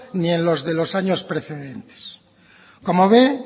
ni en los de los años precedentes como ve